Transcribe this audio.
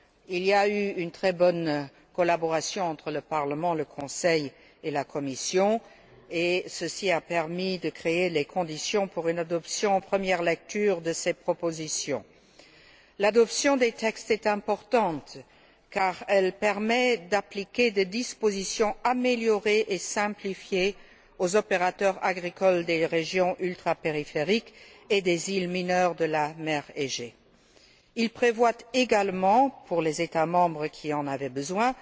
Il y a eu une très bonne collaboration entre le Parlement, le Conseil et la Commission et ceci a permis de créer les conditions d'une adoption de ces propositions en première lecture. L'adoption des textes est importante car elle permet d'appliquer des dispositions améliorées et simplifiées aux opérateurs agricoles des régions ultrapériphériques et des îles mineures de la mer Égée. Les textes prévoient également, pour les États membres qui en avaient besoin,